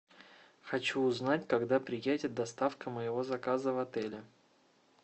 хочу узнать когда приедет доставка моего заказа в отеле